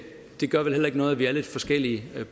gør vel heller ikke noget at vi er lidt forskellige